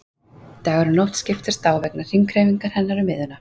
Dagur og nótt skiptast á vegna hringhreyfingar hennar um miðjuna.